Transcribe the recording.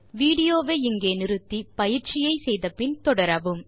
video வை நிறுத்தி பயிற்சியை முடித்த பின் தொடரவும்